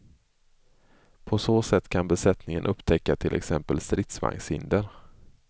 På så sätt kan besättningen upptäcka till exempel stridsvagnshinder.